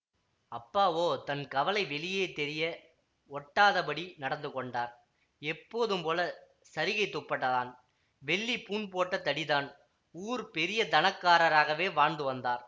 அப்பாவோ தன் கவலை வெளியே தெரிய ஒட்டாதபடி நடந்துகொண்டார் எப்போதும் போல சரிகைத் துப்பட்டாதான் வெள்ளி பூண் போட்ட தடிதான் ஊர் பெரியதனக்காரராகவே வாழ்ந்து வந்தார்